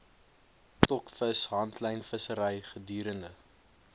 stokvis handlynvissery gedurende